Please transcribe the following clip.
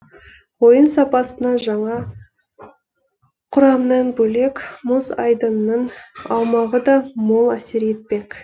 ойын сапасына жаңа құрамнан бөлек мұз айдынның аумағы да мол әсер етпек